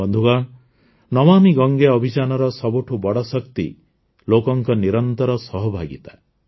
ବନ୍ଧୁଗଣ ନମାମି ଗଙ୍ଗେ ଅଭିଯାନର ସବୁଠୁ ବଡ଼ ଶକ୍ତି ଲୋକଙ୍କ ନିରନ୍ତର ସହଭାଗିତା